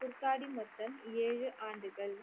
குர்காடி மொத்தம் ஏழு ஆண்டுகள்